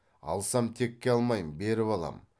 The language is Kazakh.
алсам текке алмаймын беріп алам